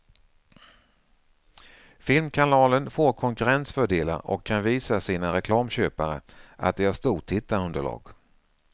Filmkanalen får konkurrensfördelar och kan visa sina reklamköpare att de har stort tittarunderlag.